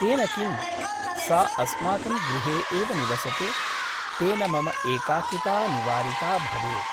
तेन किम् ? सा अस्माकं गृहे एव निवसतु तेन मम एकाकिता निवारिता भवेत् ।